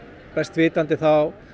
best vitandi þá